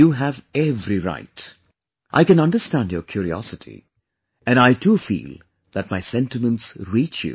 You have every right; I can understand your curiosity... and I too feel that my sentiments reach you